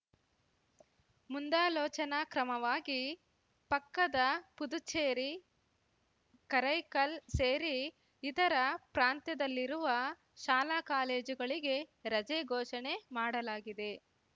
ಮುಂದಾಲೋಚನಾ ಕ್ರಮವಾಗಿ ಪಕ್ಕದ ಪುದುಚೇರಿ ಕರೈಕಲ್‌ ಸೇರಿ ಇತರ ಪ್ರಾಂತ್ಯದಲ್ಲಿರುವ ಶಾಲಾಕಾಲೇಜುಗಳಿಗೆ ರಜೆ ಘೋಷಣೆ ಮಾಡಲಾಗಿದೆ